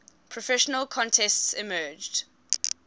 professional contests emerged